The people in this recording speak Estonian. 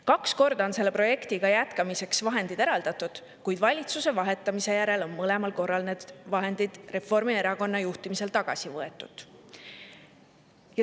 Kaks korda on selle projekti jätkamiseks vahendid eraldatud, kuid valitsuse vahetamise järel on mõlemal korral need vahendid Reformierakonna juhtimisel tagasi võetud.